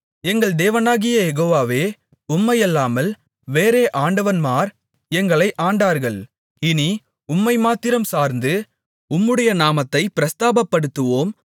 எங்கள் தேவனாகிய யெகோவாவே உம்மையல்லாமல் வேறே ஆண்டவன்மார் எங்களை ஆண்டார்கள் இனி உம்மை மாத்திரம் சார்ந்து உம்முடைய நாமத்தைப் பிரஸ்தாபப்படுத்துவோம்